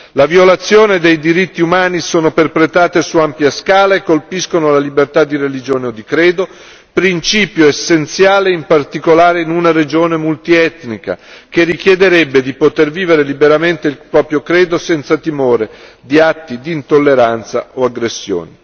Le violazioni dei diritti umani sono perpetrate su ampia scala e colpiscono la libertà di religione o di credo, principio essenziale in particolare in una regione multietnica, che richiederebbe di poter vivere liberamente il proprio credo senza timore di atti di intolleranza o aggressioni.